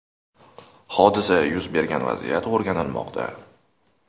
Hodisa yuz bergan vaziyat o‘rganilmoqda.